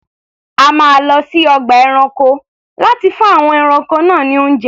A máa lọ sí ọgbà ẹranko láti fún àwọn ẹranko náà ní oúnjẹ.